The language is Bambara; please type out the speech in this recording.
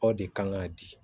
Aw de kan k'a di